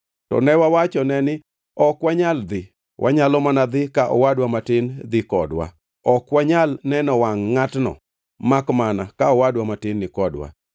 To ne wawachone ni, ‘Ok wanyal dhi. Wanyalo mana dhi ka owadwa matin dhi kodwa. Ok wanyal neno wangʼ ngʼatno makmana ka owadwa matin ni kodwa.’